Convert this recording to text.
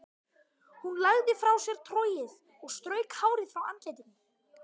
Hún lagði frá sér trogið og strauk hárið frá andlitinu.